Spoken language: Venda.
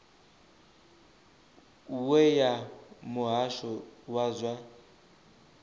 we ya muhasho wa zwa